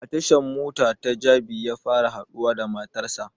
A tashan mota ta jabi ya fara haɗuwa da matar sa